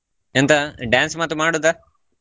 ಎಂತ dance ಮತ್ತು ಮಾಡುವುದಾ?